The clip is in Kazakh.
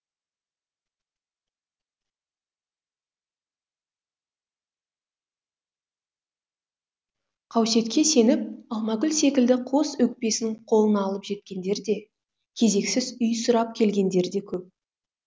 қауесетке сеніп алмагүл секілді қос өкпесін қолына алып жеткендер де кезексіз үй сұрап келгендер де көп